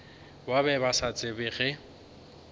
ba be ba tseba ge